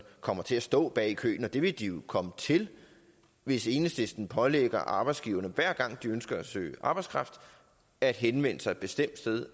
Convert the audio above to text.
kommer til at stå bag i køen det vil de jo komme til hvis enhedslisten pålægger arbejdsgiverne hver gang de ønsker at søge arbejdskraft at henvende sig et bestemt sted